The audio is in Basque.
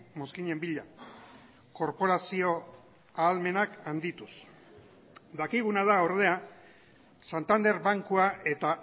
mozkinen bila korporazio ahalmenak handituz dakiguna da ordea santander bankua eta